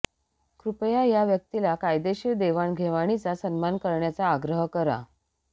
कृपया या व्यक्तीला कायदेशीर देवाणघेवाणीचा सन्मान करण्याचा आग्रह करा